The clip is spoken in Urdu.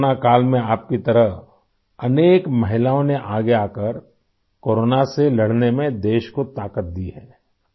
کرونا کے دور میں ، آپ کی طرح بہت سی خواتین نے ، آگے آکر کورونا سے لڑائی میں ملک کو قوت دی ہے